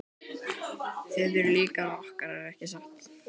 Þið eruð líka rokkarar ekki satt?